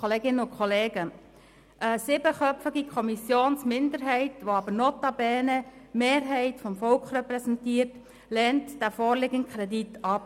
der SiK. Eine siebenköpfige Kommissionsminderheit, die aber notabene die Mehrheit des Volks repräsentiert, lehnt den vorliegenden Kredit ab.